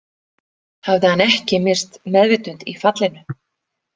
Hafði hann ekki misst meðvitund í fallinu.